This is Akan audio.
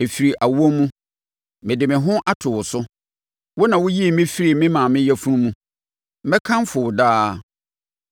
Ɛfiri awoɔ mu, mede me ho ato wo so; wo na woyii me firii me maame yafunu mu. Mɛkamfo wo daa.